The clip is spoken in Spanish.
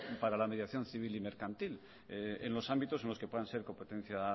para la mediación civil y mercantil en los ámbitos en los que puedan ser competencias